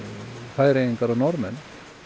Færeyingar og Norðmenn